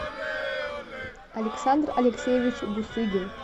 александр алексеевич бусыгин